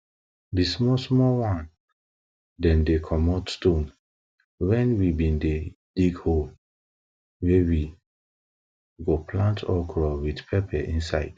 di small small one dem dey comot stone wen we bin dey dig hole wey we go plant okro with pepper inside